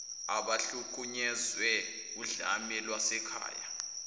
abahlukunyezwe wudlame lwasekhaya